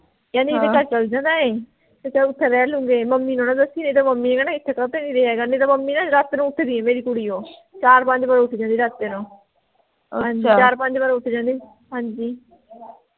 ਕਹਿੰਦੇ ਇਹਦਾ ਘਰ ਚੱਲ ਜਾਂਦਾ ਆਏਂ ਤਾਂ ਚਲ ਓਥੇ ਰਹਿ ਲੂੰਗੇ ਮੰਮੀ ਨੂੰ ਨਾ ਦੱਸੀਂ ਨਹੀਂ ਤਾਂ ਮੰਮੀ ਨੇ ਕਹਿਣਾ ਇਥੇ ਕਾਤੇ ਨੀ ਰਿਹਾ ਨਹੀਂ ਤਾਂ ਮੰਮੀ ਨੇ ਰਾਤੇ ਨੂੰ ਉੱਠ ਦੀ ਐ ਮੇਰੀ ਕੁੜੀ ਉਹ ਚਾਰ ਪੰਜ ਵਾਰ ਉੱਠਦੀ ਉਹ ਰਾਤੇ ਨੂੰ ਚਾਰ ਪੰਜ ਵਾਰ ਉੱਠ ਜਾਂਦੀ ਹਾਂਜੀ